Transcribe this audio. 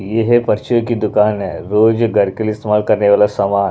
यह परचून की दुकान है रोज घर के लिए इस्तेमाल करने वाला सामान--